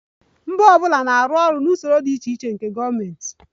Mba ọ bụla na-arụ ọrụ na usoro dị iche iche nke gọọmentị